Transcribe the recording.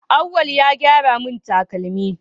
Auwal ya gyara mun takalmi